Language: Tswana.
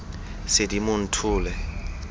sedimonthole